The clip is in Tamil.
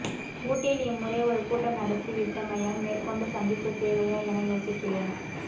ஊட்டியில் இம்முறை ஒரு கூட்டம் நடத்திவிட்டமையால் மேற்கொண்டு சந்திப்பு தேவையா என யோசிக்கிறேன்